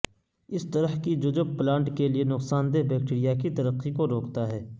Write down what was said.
اس طرح کی ججب پلانٹ کے لئے نقصان دہ بیکٹیریا کی ترقی کو روکتا ہے